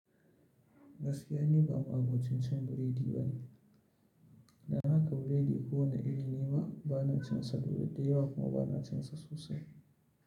Gaskiya ni ba ma'abocin cin biredi bane, ba biredi kowanne iri bane, bana cin sa da yawa, bana cin sa sosai.